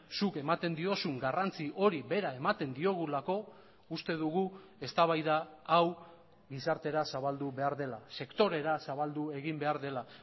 zuk ematen diozun garrantzi hori bera ematen diogulako uste dugu eztabaida hau gizartera zabaldu behar dela sektorera zabaldu egin behar dela